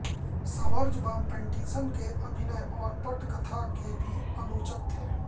Schwarzbaum Pattinson के अभिनय और पटकथा के भी आलोचक थे